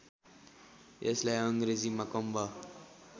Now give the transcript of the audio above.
यसलाई अङ्ग्रेजीमा कम्ब